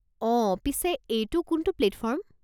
অ', পিছে এইটো কোনটো প্লেটফৰ্ম?